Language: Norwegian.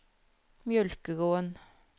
Mjølkeråen